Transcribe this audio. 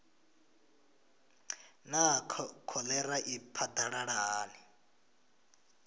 naa kholera i phadalala hani